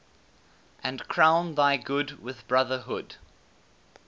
and crown thy good with brotherhood